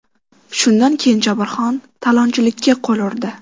Shundan keyin Jobirxon talonchilikka qo‘l urdi.